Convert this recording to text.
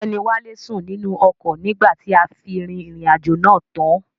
Ọgbẹ́ni wálé sùn nínú ọkọ̀ nígbà tí a fi rìnrìn àjò náà tán.